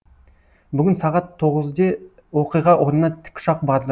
бүгін сағат тоғызде оқиға орнына тікұшақ барды